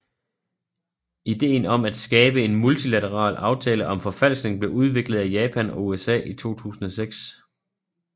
Ideen om at skabe en multilateral aftale om forfalskning blev udviklet af Japan og USA i 2006